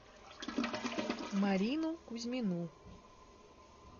марину кузьмину